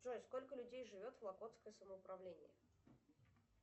джой сколько людей живет в охотское самоуправление